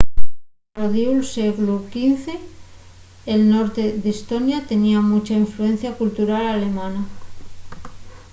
al rodiu'l sieglu xv el norte d'estonia tenía muncha influencia cultural alemana